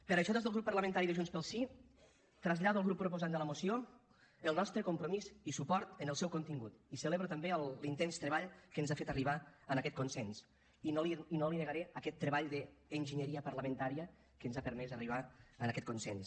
per això des del grup parlamentari de junts pel sí trasllado al grup proposant de la moció el nostre compromís i suport amb el seu contingut i celebro també l’intens treball que ens ha fet arribar a aquest consens i no li negaré aquest treball d’enginyeria parlamentària que ens ha permès arribar a aquests consens